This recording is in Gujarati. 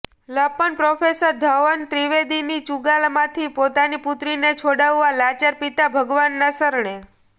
લંપટ પ્રોફેસર ઘવલ ત્રિવેદીની ચૂંગાલમાંથી પોતાની પુત્રીને છોડાવવા લાચાર પિતા ભગવાનના શરણે